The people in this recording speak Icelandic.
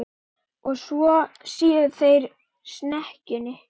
Og svo séu þau í snekkjunni.